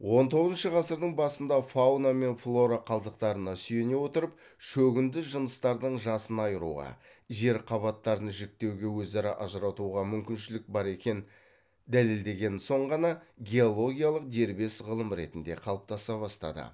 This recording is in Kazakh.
он тоғызыншы ғасырдың басында фауна мен флора қалдықтарына сүйене отырып шөгінді жыныстардың жасын айыруға жер қабаттарын жіктеуге өзара ажыратуға мүмкіншілік бар екен дәлелдеген соң ғана геологиялық дербес ғылым ретінде қалыптаса бастады